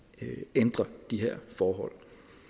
ændre de her forhold